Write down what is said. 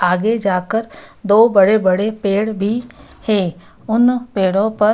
आगे जाकर दो बड़े-बड़े पेड़ भी है उन पेड़ों पर --